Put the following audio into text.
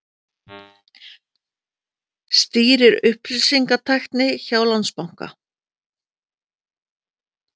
Stýrir upplýsingatækni hjá Landsbanka